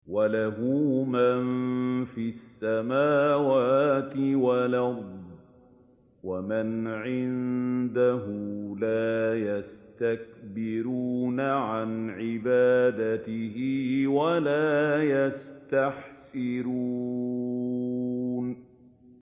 وَلَهُ مَن فِي السَّمَاوَاتِ وَالْأَرْضِ ۚ وَمَنْ عِندَهُ لَا يَسْتَكْبِرُونَ عَنْ عِبَادَتِهِ وَلَا يَسْتَحْسِرُونَ